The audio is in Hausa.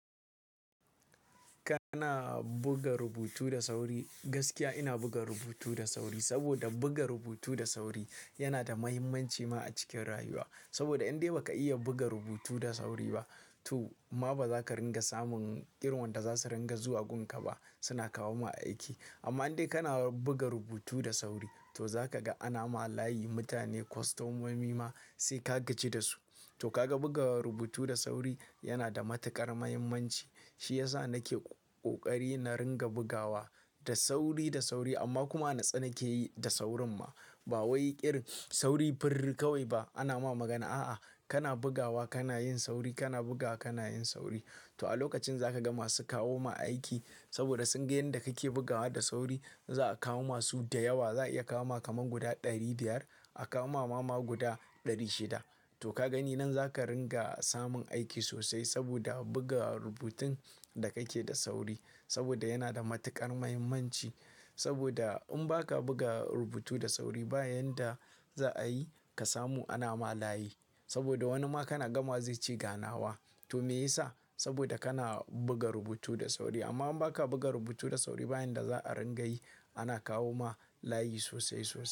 Kana buga rubutu da sauri. Gaskiya ina buga rubutu da sauri saboda buga rubutu da sauri yana da mahimmanci ma a cikin rayuwa. Saboda in dai ba ka iya buga rubutu da sauri ba to ma ba za ka ringa samun irin wanda za su ringa zuwa gun ka ba. Suna kawo ma aiki amma in dai kana buga rubutu da sauri to za ka ga ana ma layi mutane kostomomi ma sai ka gaji da su. To ka ga buga rubutu da sauri yana da matuƙar mahimmanci. Shi ya sa na ke ƙoƙari na ringa bugawa da sauri, da sauri amma kuma a na tsani ke yi da saurin ma. Ba wai ƙir sauri fir kawai ba ana ma magana. A'a, kana bugawa, kana yin sauri, kana bugawa, kana yin sauri. To a lokacin za ka ga masu kawo ma aiki saboda sun ga yanda kake bugawa da sauri za a kawo masu da yawa. Za'a iya kawo ma kamar guda ɗari biyar. A kawo ma mama guda ɗari shida. To ka gani nan za ka ringa samun aiki sosai saboda buga rubutun da ka yake da sauri saboda yana da matuƙar mahimmanci. Saboda in ba ka buga rubutu da sauri ba, yanda za a yi ka samu ana ma layi saboda wani ma kana gama zai ce ganawa. To me ya sa? Saboda kana buga rubutu da sauri amma in ba ka buga rubutu da sauri ba, yanda za a ringa yi ana kawo ma layi sosai, sosai.